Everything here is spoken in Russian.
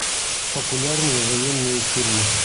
популярные военные фильмы